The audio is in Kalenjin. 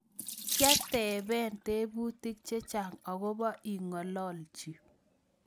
Kiatebe tebutik chechang agobo ikoloji